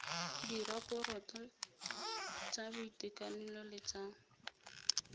diraporoto tsa boitekanelo le tsa